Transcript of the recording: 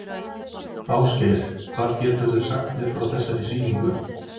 Ásgeir: Hvað geturðu sagt mér frá þessari sýningu?